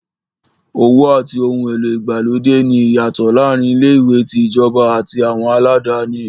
Owó àti ohun èlò ìgbàlódé ní ìyàtọ̀ láàárín ilé-ìwé tí ìjọba àti àwọn aládáni.